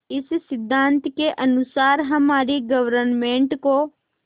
इस सिद्धांत के अनुसार हमारी गवर्नमेंट को